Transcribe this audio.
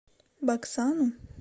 баксану